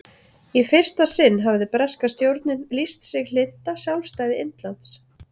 í fyrsta sinn hafði breska stjórnin lýst sig hlynnta sjálfstæði indlands